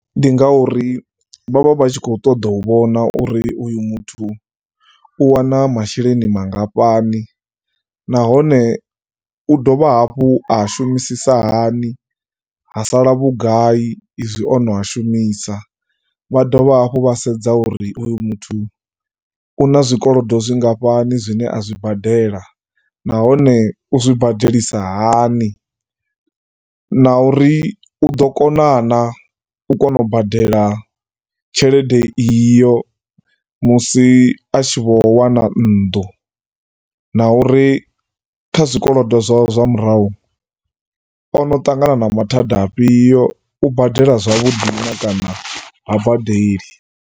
Ndi ngauri vhavha vhatshi kho ṱoḓa u vhona uri uyu muthu u wana masheleni mangafhani nahone u dovha hafhu a ashumisisa hani ha sala vhugai ezwi ono a shumisa. Vha dovha hafhu vha sedza uri uyu muthu una zwikolodo zwingafhani zwine azwi badela nahone uzwi badelisa hani na uri uḓo kona, na u kona u badela tshelede iyo musi a tshi vho wana nnḓu, na uri kha zwikolodo zwawe zwa murahu ono ṱangana na mathada afhio, u badela zwavhuḓi kana ha badeli.